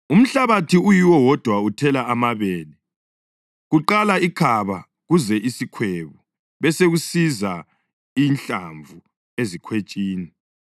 Umhlabathi uyiwo wodwa uthela amabele, kuqala ikhaba kuze isikhwebu besekusiza inhlamvu ezikhwetshini.